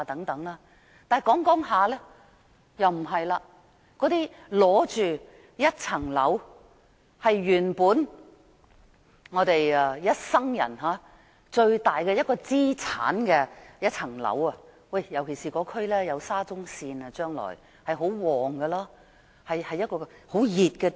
那些在重建區擁有一個單位的人，該物業是他們一生最大的資產，尤其是該區將來會有沙中線，會很興旺，是一個熱點。